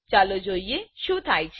ચાલો જોઈએ કે શું થાય છે